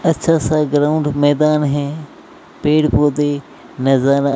अच्छा सा ग्राउंड मैदान है पेड़ पौधे नजर--